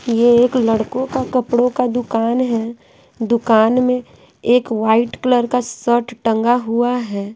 ये एक लड़कों का कपड़ों का दुकान है दुकान में एक वाइट कलर का शर्ट टंगा हुआ है।